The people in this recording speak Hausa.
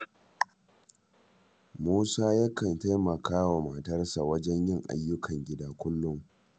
Musa yakan taimaka wa matarsa wajen yin ayyukan gida kullum